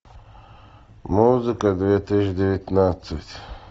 музыка две тысячи девятнадцать